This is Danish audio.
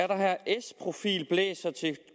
der s profil blæser til